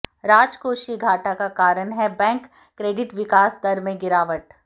राजकोषीय घाटा का कारण है बैंक क्रेडिट विकास दर में गिरावट